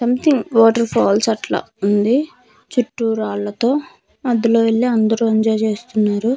Some thing water falls అట్లా ఉంది చుట్టూ రాళ్ళతో మధ్యలో వెళ్ళి అందరూ ఎంజాయ్ చేస్తున్నారు.